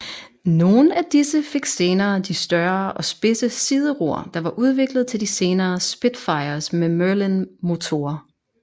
Nogle af disse fik senere de større og spidse sideror der var udviklet til de senere Spitfires med Merlin motorer